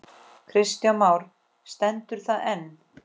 Kristján Már: Stendur það enn?